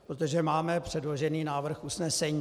Protože máme předložený návrh usnesení.